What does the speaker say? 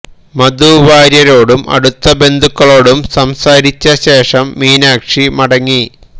മധു വാര്യരോടും അടുത്ത ബന്ധുക്കളോടും സംസാരിച്ച ശേഷം മീനാക്ഷി മടങ്ങി